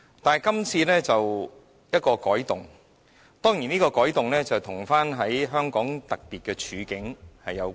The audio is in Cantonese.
但是，今次的《條例草案》便是一個改動，當然這改動與香港的特別處境有關。